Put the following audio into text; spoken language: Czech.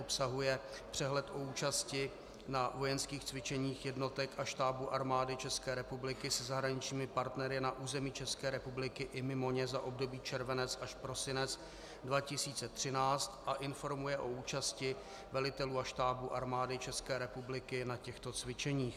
Obsahuje přehled o účasti na vojenských cvičeních jednotek a štábů Armády České republiky se zahraničními partnery na území České republiky i mimo ně za období červenec až prosinec 2013 a informuje o účasti velitelů a štábů Armády České republiky na těchto cvičeních.